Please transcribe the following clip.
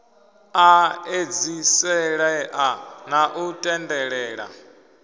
a edziselea na u tendelela